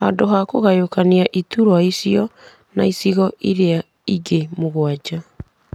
handũ ha kũgayũkanĩra iturwa icio na icigo iria ingĩ mũgwanja,